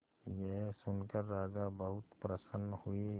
यह सुनकर राजा बहुत प्रसन्न हुए